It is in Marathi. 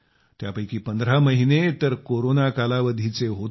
त्यापैकी 15 महिने तर कोरोना कालावधीचे होते